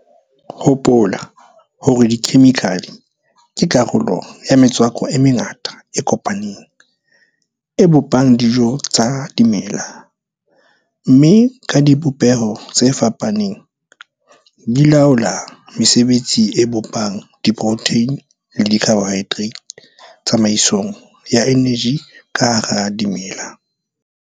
Hopola hore dikhemikhale ke karolo ya metswako e mengata e kopaneng, e bopang dijo tsa dimela, mme ka dibopeho tse fapaneng di laola mesebetsi e bopang diprotheine le dicarbohydrate tsamaisong ya eneji ka hara dimela.